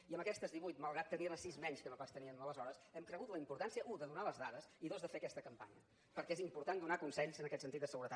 i amb aquestes divuit malgrat tenir ne sis menys que no pas tenien aleshores hem cregut la importància u de donar les dades i dos de fer aquesta campanya perquè és important donar consells en aquest sentit de seguretat